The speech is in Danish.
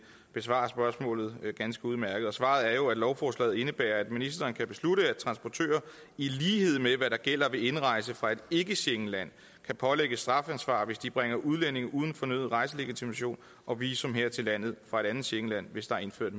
besvarer spørgsmålet ganske udmærket svaret er jo at lovforslaget indebærer at ministeren kan beslutte at transportører i lighed med hvad der gælder ved indrejse fra et ikke schengenland kan pålægges strafansvar hvis de bringer udlændinge uden fornøden rejselegitimation og visum her til landet fra et andet schengenland hvis der er indført